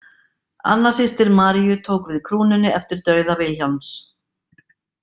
Anna systir Maríu tók við krúnunni eftir dauða Vilhjálms.